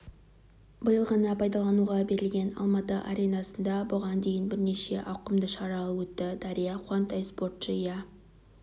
биыл ғана пайдалануға берілген алматы аренасында бұған дейін бірнеше ауқымды шаралар өтті дәрия қуантай спортшы иә